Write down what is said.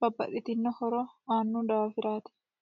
babbaxitino horo aanohurati.